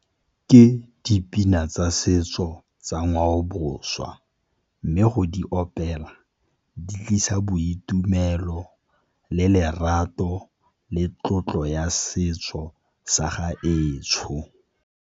Ke dipina tsa setso tsa ngwaoboswa, mme go di opela di tlisa boitumelo le lerato le tlotlo ya setso sa gaetsho.